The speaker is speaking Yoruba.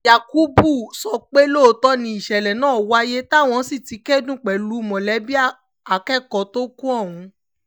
yakubu sọ pé lóòótọ́ ni ìṣẹ̀lẹ̀ náà wáyé táwọn sì ti kẹ́dùn pẹ̀lú mọ̀lẹ́bí akẹ́kọ̀ọ́ tó kù ọ̀hún